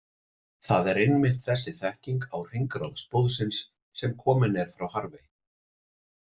Það er einmitt þessi þekking á hringrás blóðsins sem komin er frá Harvey.